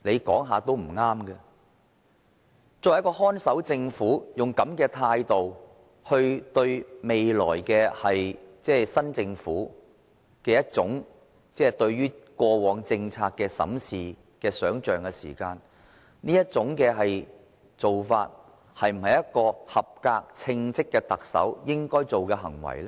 作為看守政府，以這種態度來對待未來的新政府對過往政策的審視的想象，這種做法是否一個合格、稱職的特首應該做的行為呢？